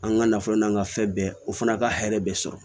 An ka nafolo n'an ka fɛn bɛɛ o fana ka hɛrɛ bɛ sɔrɔ